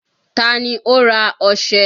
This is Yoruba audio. Ta ni ó ra ọșẹ?